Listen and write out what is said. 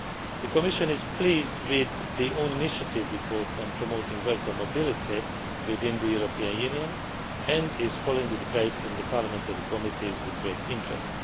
The Commission is pleased with the own initiative report on promoting worker mobility within the European Union and is following the debate in the parliamentary committees with great interest.